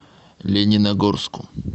лениногорску